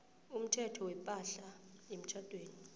umthetho wepahla yemtjhadweni